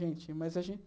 Gente, mas a gen...